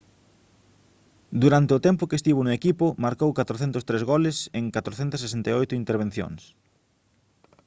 durante o tempo que estivo no equipo marcou 403 goles en 468 intervencións